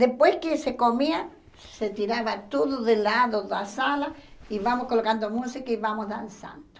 Depois que se comia, se tirava tudo de lado da sala, e vamos colocando música e vamos dançando.